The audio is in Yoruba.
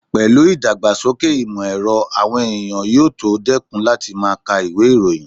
Pẹ̀lú ìdàgbàsókè ìmọ̀ ẹ̀rọ, àwọn èèyàn yóò tó dẹ́kun láti máa ka ìwé ìròyìn